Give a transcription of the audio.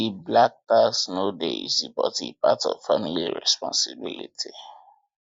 di black tax no dey easy but e part of family responsibility